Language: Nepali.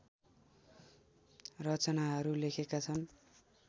रचनाहरू लेखेका छन्